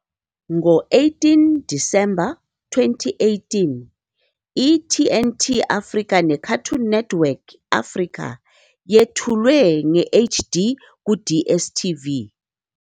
Ngo-18 Disemba 2018, i-TNT Africa neCartoon Network Africa yethulwe nge-HD ku-DStv.